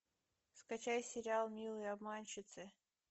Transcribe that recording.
скачай сериал милые обманщицы